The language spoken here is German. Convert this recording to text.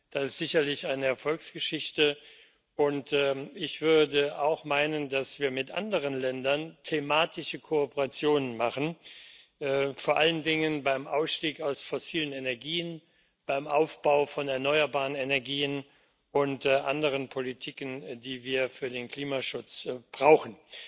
das ist sicherlich eine Erfolgsgeschichte und ich würde auch meinen, dass wir mit anderen Ländern thematische Kooperationen machen, vor allen Dingen beim Ausstieg aus fossilen Energien, beim Aufbau von erneuerbaren Energien und anderen Politiken, die wir für den Klimaschutz brauchen.